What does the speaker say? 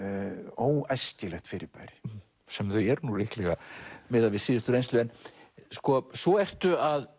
óæskilegt fyrirbæri sem þau eru nú líklega miðað við síðustu reynslu svo ertu að